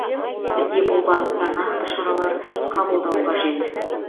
бізге бұл бағытта нақты шаралар қабылдау қажет